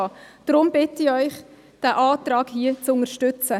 Deshalb bitte ich Sie, diesen Antrag hier zu unterstützen.